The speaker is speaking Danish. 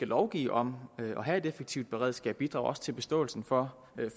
lovgive om at have et effektivt beredskab bidrager til forståelsen for